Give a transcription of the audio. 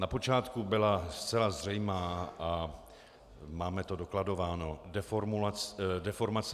Na počátku byla zcela zřejmá, a máme to dokladováno, deformace mé formulace.